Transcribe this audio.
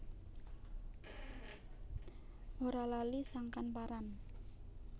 Ora lali sangkan paran